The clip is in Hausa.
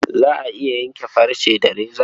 Za a iya yanke farce da reza.